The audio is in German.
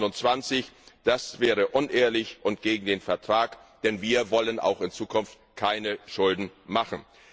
2020. Das wäre unehrlich und gegen den Vertrag, denn wir wollen auch in Zukunft keine Schulden machen.